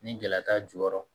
Ni gɛlɛya t'a jukɔrɔ